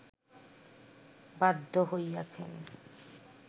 বাধ্য হইয়াছেন